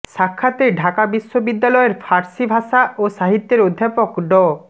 সাক্ষাতে ঢাকা বিশ্ববিদ্যালয়ের ফার্সি ভাষা ও সাহিত্যের অধ্যাপক ড